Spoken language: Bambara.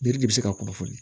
Yiri de bɛ se ka kunnafoni